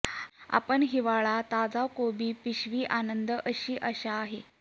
आपण हिवाळा ताजा कोबी पिशवी आनंद अशी आशा आहे